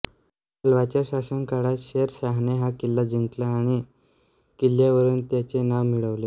मालवाच्या शासनकाळात शेर शाहने हा किल्ला जिंकला आणि किल्ल्यावरून त्याचे नाव मिळवले